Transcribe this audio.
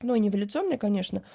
но не в лицо мне конечно